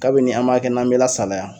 Kabini an b'a kɛ n'an bɛ lasalaya..